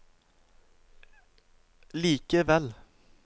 likevel